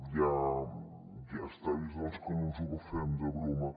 ja està vist doncs que no ens ho agafem de broma